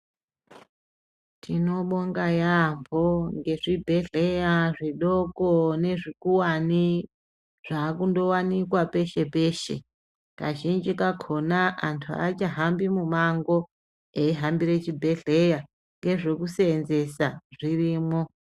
Tinobonga yambo nezvibhedhlera zvidoko nezvikuwani zvava kuwanikwa peshe-peshe kazhinji kakona antu achahambi mumango eihambira chibhedhlera nezvekusenzesa zvirimo.